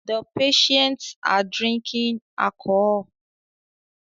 The patients are drinking alcohol